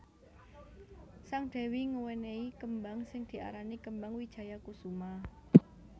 Sang Dewi ngewenehi kembang sing diarani kembang Wijaya Kusuma